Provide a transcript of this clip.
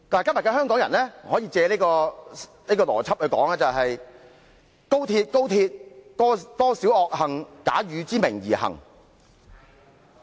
"今天的香港人可以把這句名言改成："高鐵，高鐵，多少罪惡假汝之名而行！